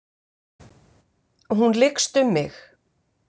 Hún lykst um mig.